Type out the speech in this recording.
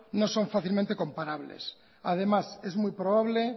no son fácilmente comparables además es muy probable